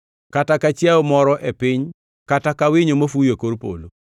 kata ka chiayo moro e piny kata ka winyo mafuyo e kor polo,